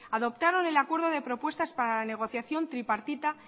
adoptaron el acuerdo de propuestas para la negociación tripartita